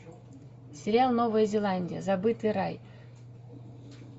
сериал новая зеландия забытый рай